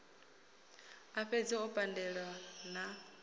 a fhedze o pandelwa na